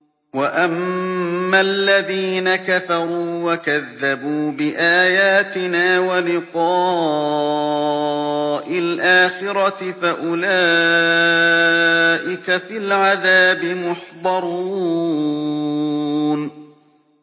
وَأَمَّا الَّذِينَ كَفَرُوا وَكَذَّبُوا بِآيَاتِنَا وَلِقَاءِ الْآخِرَةِ فَأُولَٰئِكَ فِي الْعَذَابِ مُحْضَرُونَ